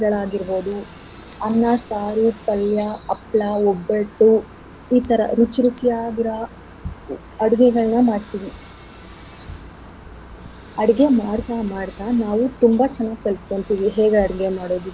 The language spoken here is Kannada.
ತಿಂಡಿಗಳಾಗಿರ್ಬೋದು ಅನ್ನ, ಸಾರು, ಪಲ್ಯ, ಹಪ್ಳ, ಒಬ್ಬಟ್ಟು ಈತರ ರುಚಿ ರುಚಿಯಾಗಿರ ಅಡ್ಗೆಗಳ್ನ ಮಾಡ್ತೀವಿ. ಅಡ್ಗೆ ಮಾಡ್ತಾ ಮಾಡ್ತಾ ನಾವು ತುಂಬಾ ಚೆನ್ನಾಗ್ ಕಲ್ತ್ಕೋತೀವಿ ಹೇಗ್ ಅಡ್ಗೆ ಮಾಡೋದು.